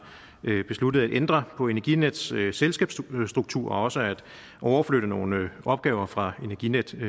besluttet at ændre på energinets selskabsstruktur og også at overflytte nogle opgaver fra energinet til